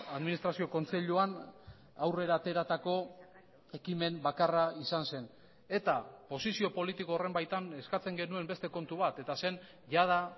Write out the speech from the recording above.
administrazio kontseiluan aurrera ateratako ekimen bakarra izan zen eta posizio politiko horren baitan eskatzen genuen beste kontu bat eta zen jada